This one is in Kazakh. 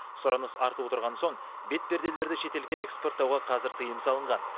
сұраныс артып отырған соң бетперделерді шетелге экспорттауға қазір тыйым салынған